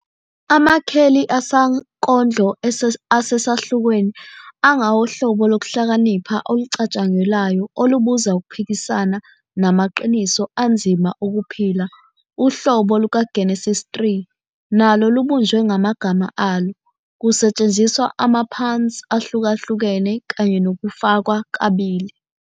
Amakheli asankondlo asesahlukweni angawohlobo lokuhlakanipha olucatshangelwayo olubuza ukuphikisana namaqiniso anzima okuphila. Uhlobo lukaGenesise 3 nalo lubunjwe ngamagama alo, kusetshenziswa ama-puns ahlukahlukene kanye nokufakwa kabili.